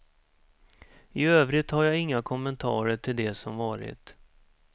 I övrigt har jag inga kommentarer till det som varit.